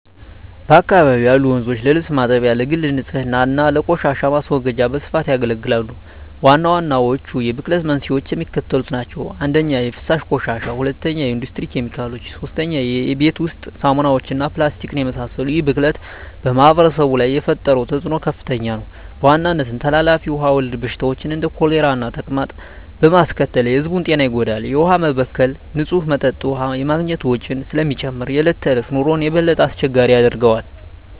በአካባቢው ያሉ ወንዞች ለልብስ ማጠቢያ፣ ለግል ንፅህና እና ለቆሻሻ ማስወገጃ በስፋት ያገለግላሉ። ዋናዎቹ የብክለት መንስኤዎች የሚከተሉት ናቸው - 1) የፍሳሽ ቆሻሻ 2) የኢንዱስትሪ ኬሚካሎች 3) የቤት ውስጥ ሳሙናዎች እና ፕላስቲክን የመሰሉ ይህ ብክለት በማኅበረሰቡ ላይ የፈጠረው ተፅዕኖ ከፍተኛ ነው፤ በዋናነትም ተላላፊ ውሃ ወለድ በሽታዎችን (እንደ ኮሌራና ተቅማጥ) በማስከተል የሕዝቡን ጤና ይጎዳል። የውሃ መበከል ንፁህ መጠጥ ውሃ የማግኘት ወጪን ስለሚጨምር የዕለት ተዕለት ኑሮን የበለጠ አስቸጋሪ ያደርገዋል።